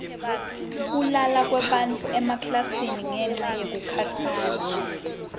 kulala kwebafundzi emaklasini ngenca yekukhatsala